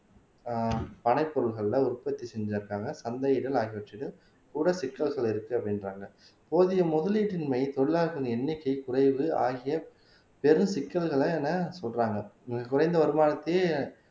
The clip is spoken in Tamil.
ஆஹ் பனை பொருட்கள உற்பத்தி செஞ்சிருக்காங்க கூட சிக்கல்கள் இருக்கு அப்படின்றாங்க போதிய முதலீட்டின்மை தொழிலாளர்களின் எண்ணிக்கை குறைவு ஆகிய பெரும் சிக்கல்களை என சொல்றாங்க குறைந்த வருமானத்தையே